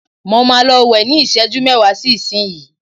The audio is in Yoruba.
mo ma lọ wẹ́ ni iseju mẹwa sí isinyii